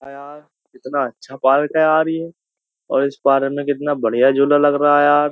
कितना अच्छा पार्क है यार ये और इस पार्क में कितना बढ़िया झोला लग रहा है यार --